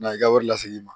Na i ka wari lasegin i ma